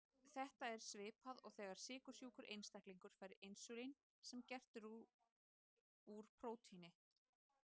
Þetta er svipað og þegar sykursjúkur einstaklingur fær insúlín sem er gert úr prótíni.